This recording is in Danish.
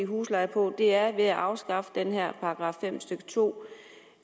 husleje på er ved at afskaffe det her § fem stykke to